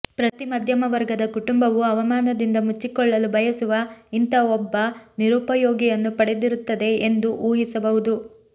ಪ್ರತಿ ಮಧ್ಯಮ ವರ್ಗದ ಕುಟುಂಬವೂ ಅವಮಾನದಿಂದ ಮುಚ್ಚಿಕೊಳ್ಳಲು ಬಯಸುವ ಇಂಥ ಒಬ್ಬ ನಿರುಪಯೋಗಿಯನ್ನು ಪಡೆದಿರುತ್ತದೆ ಎಂದು ಊಹಿಸಬಹುದು